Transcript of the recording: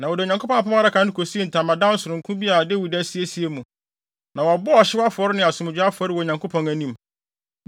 Na wɔde Onyankopɔn Apam Adaka no kosii ntamadan sononko bi a Dawid asiesie mu, na wɔbɔɔ ɔhyew afɔre ne asomdwoe afɔre wɔ Onyankopɔn anim.